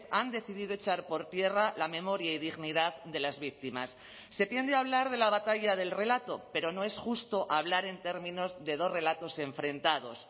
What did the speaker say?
han decidido echar por tierra la memoria y dignidad de las víctimas se tiende a hablar de la batalla del relato pero no es justo hablar en términos de dos relatos enfrentados